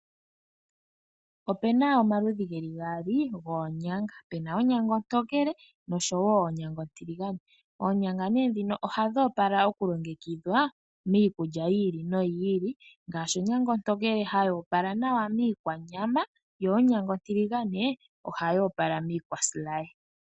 Opena omaludhi geli gaali goonyanga pena onyanga ontokele noshowo onyanga ontiligane. Oonyanga ne ndhino ohadhi opala okulongekidhwa miikulya yi ili no yi ili ngaashi onyanga ontokele ohayi opala nawa miikwanyama yo onyanga ontiligane oha yi opala miikwa silaye.